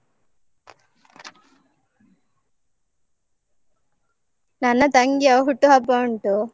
ನನ್ನ ತಂಗಿಯ ಹುಟ್ಟುಹಬ್ಬ ಉಂಟು.